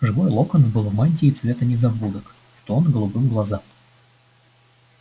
живой локонс был в мантии цвета незабудок в тон голубым глазам